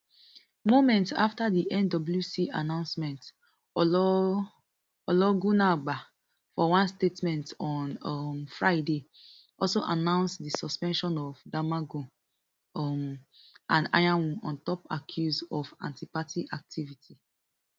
moments afta di nwc announcement ologunagba for one statement on um friday also announce di suspension of damagum um and anyanwu on top accuse of antiparty activity